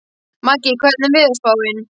Maggi, hvernig er veðurspáin?